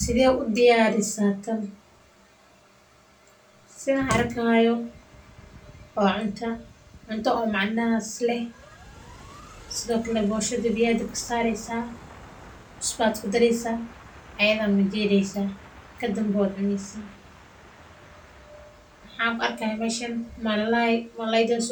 Sidee udiyarisaa tan sidaan arki haayo waa cunto oo macnahaas leh boshada biya ayaa kudareysa kadib waa majireysa waxaan arki haaya kaluun ayada waa ladaqaa